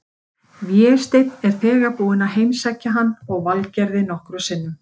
Vésteinn er þegar búinn að heimsækja hann og Valgerði nokkrum sinnum.